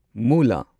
ꯃꯨꯂꯥ